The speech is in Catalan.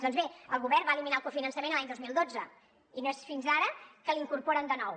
doncs bé el govern va eliminar el cofinançament l’any dos mil dotze i no és fins ara que l’incorporen de nou